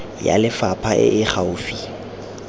ya lefapha e e gaufi